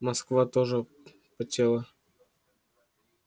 москва тоже потела